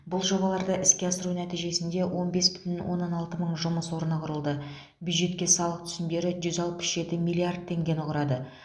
бұл жобаларды іске асыру нәтижесінде он бес бүтін онна алты мың жұмыс орны құрылды бюджетке салық түсімдері жүз алпыс жеті миллард теңгені құрады